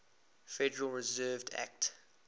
federal reserve act